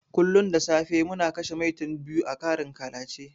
Kullun da safe muna kashe 'Maitan' biyu a karin ƙalace.